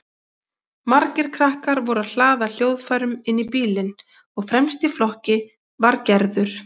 Margir krakkar voru að hlaða hljóðfærum inn í bílinn og fremst í flokki var Gerður.